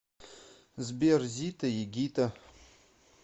сбер зитта и гитта